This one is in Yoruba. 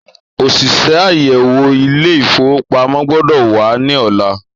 Òṣìṣẹ́ àyèwò Ilé-ìfowópamó gbọ́dọ̀ wa ní ọ̀la.